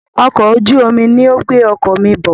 Ọkọ̀ ojú omi ní o ń gbé ọkọ̀ mí bọ̀.